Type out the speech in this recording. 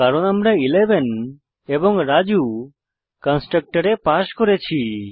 কারণ আমরা 11 এবং রাজু কন্সট্রকটরে পাস করেছি